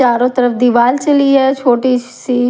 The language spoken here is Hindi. चारों तरफ दीवार सिली है छोटी सी।